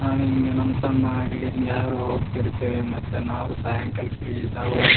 ನಾವ್ ಹಿಂಗ ನಮ್ ತಮ್ಮ ಆಗ್ಲಿ ಅಂತ ಯಾರೋ ತಿರುಗತ್ತೆವೆ ಮತ್ತೆ ನಾವು ಸಾಯಂಕಾಲ ಹೋಗ್--